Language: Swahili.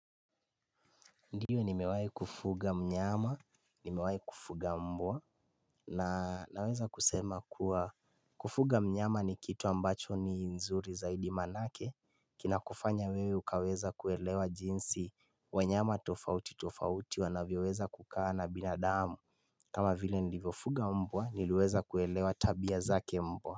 Ndio nimewahi kufuga mnyama, nimewahi kufuga mbwa, na naweza kusema kuwa Kufuga mnyama ni kitu ambacho ni nzuri zaidi maanake Kinakufanya wewe ukaweza kuelewa jinsi wanyama tofauti tofauti wanavyoweza kukaa na binadamu kama vile nilivyofuga mbwa niliweza kuelewa tabia zake mbwa.